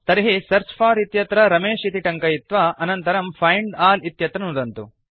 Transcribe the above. तर्हि search for इत्यत्र रमेश इति टङ्कयित्वा अनन्तरम् फाइण्ड अल् इत्यत्र नुदन्तु